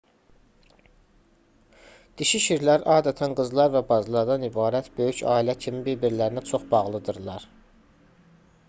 dişi şirlər adətən qızlar və bacılardan ibarət böyük ailə kimi bir-birlərinə çox bağlıdırlar